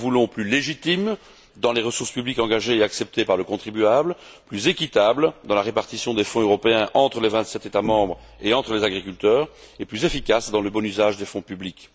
Nous la voulons plus légitime dans les ressources publiques engagées et acceptées par le contribuable, plus équitable dans la répartition des fonds européens entre les vingt sept États membres et entre les agriculteurs, et plus efficace dans le bon usage des fonds publics.